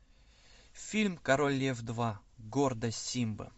фильм король лев два гордость симбы